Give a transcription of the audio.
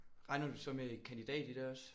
Regner du så med kandidat i det også?